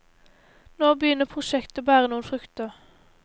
Nå begynner prosjektet å bære noen frukter.